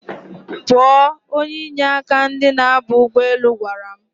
Pụọ! Onye inye aka ndi na-aba ụgbọelu gwara m